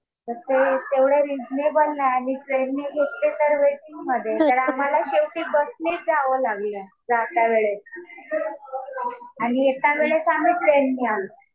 तर ते तेवढं रिझनेबल नाही. आणि ट्रेननी घेतले तर वेटिंग मध्ये. तर आम्हाला शेवटी बसनेच जावं लागलं.जाता वेळेस. आणि येता वेळेस आम्ही ट्रेनने आलो.